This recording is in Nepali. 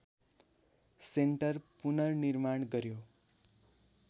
सेन्टर पुनर्निर्माण गर्‍यो